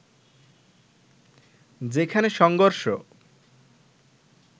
যেখানে সংঘর্ষ